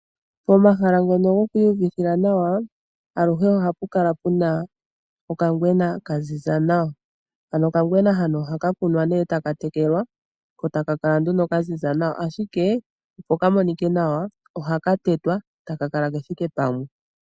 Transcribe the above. Pomahala ngono gomainyanyudho aluhe ohapa kala pena okangwena ka ziza nawa. Okagwena ohaka kunwa eta ka tekelwa opo ka kale kaziza nawa, ashike opo ka monike nawa ohaka tetwa kethike pamwe.